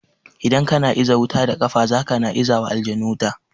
Idan kana iza wuta da kafa to zaka na izawa aljanu wuta